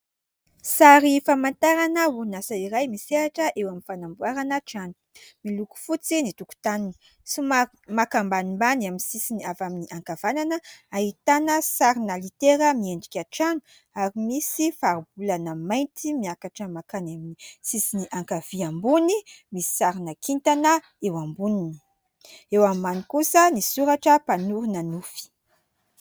Sary famantarana orinasa iray misehatra eo amin' ny fanamboarana trano. Miloko fotsy ny tokontaniny somary maka ambanimbany amin' ny sisiny avy amin' ny ankavanana ahitana sarina litera miendrika trano, ary misy fari-bolana mainty miakatra mankany amin' ny sisiny ankavia ambony. Misy sarina kintana eo amboniny, eo ambany kosa ny soratra mpanorina nofy.